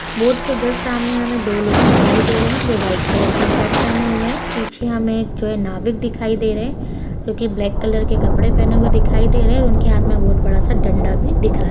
Boat के just सामने हमें दो लोग दिखाई दे रहें हैं जो वाइट कलर की शर्ट पहने हुए हैं पीछे हमें एक जो है नाविक दिखाई दे रहें हैं जो की ब्लैक कलर के कपड़े पहने हुए दिखाई दे रहें हैं उनके हाथ में बहुत बड़ा सा डंडा भी दिख रहा है।